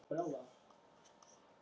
Sigurgísli, spilaðu tónlist.